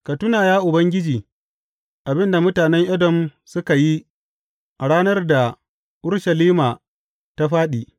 Ka tuna, ya Ubangiji, abin da mutanen Edom suka yi a ranar da Urushalima ta fāɗi.